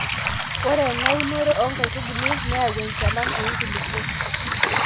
ore ena unore oo nkaitubulu neyau enchalan oo nkulupuok